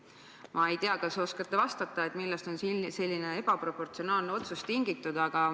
Ma ei tea, kas oskate vastata, millest on selline ebaproportsionaalne otsus tingitud.